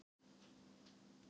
Hann gerir ekkert!